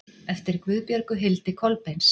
eftir guðbjörgu hildi kolbeins